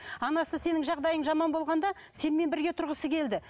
анасы сенің жағдайың жаман болғанда сенімен бірге тұрғысы келді